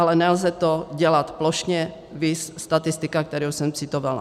Ale nelze to dělat plošně, viz statistika, kterou jsem citovala.